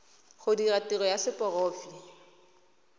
go dira tiro ya seporofe